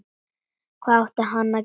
Hvað átti hann að gera?